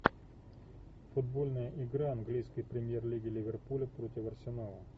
футбольная игра английской премьер лиги ливерпуля против арсенала